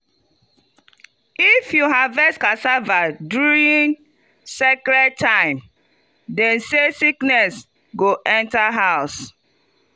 if you harvest cassava during sacred time dem say sickness go enter house.